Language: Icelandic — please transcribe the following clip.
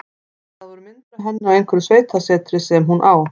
Það voru myndir af henni á einhverju sveitasetri sem hún á.